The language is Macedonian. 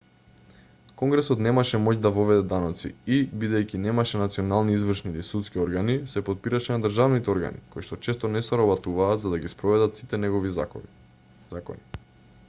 конгресот немаше моќ да воведе даноци и бидејќи немаше национални извршни или судски органи се потпираше на државните органи кои што често не соработуваа за да ги спроведат сите негови закони